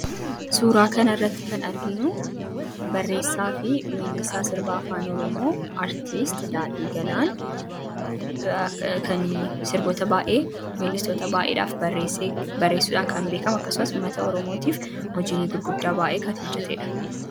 Suuraa kanarratti kan arginu barreessaa fi weellisaa sirba Afaan Oromoo artistii Daadhii Galaan kan sirboota baay'ee artistoota baay'eedhaaf barreessuudhaan kan beekamu akkasumas uummata Oromootiif hojiilee gurguddaa baay'ee kan hojjateedha.